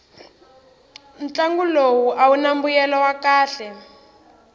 ntlangu lowu awuna mbuyelo wa kahle